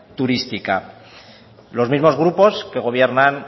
turística los mismos grupos que gobiernan